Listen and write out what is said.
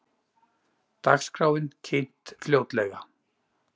Dagskráin kynnt fljótlega